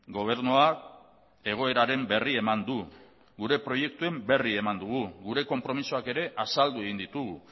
gobernuak egoeraren berri eman du gure proiektuen berri eman dugu gure konpromisoak ere azaldu egin ditugu